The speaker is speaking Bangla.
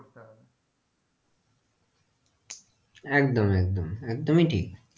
একদম একদম একদমই ঠিক,